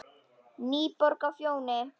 NÝBORG Á FJÓNI